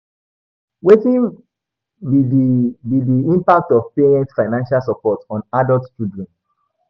Wetin be di be di impact of parents' financial support on adult children?